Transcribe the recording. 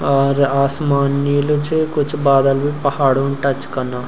और आसमान नीलू च कुछ बादल बि पहाड़ो टच कना।